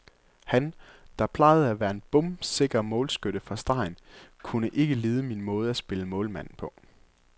Han, der plejede at være en bombesikker målskytte fra stregen, kunne ikke lide min måde at spille målmand på.